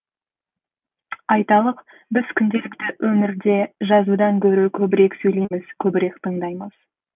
айталық біз күнделікті өмірде жазудан гөрі көбірек сөйлейміз көбірек тыңдаймыз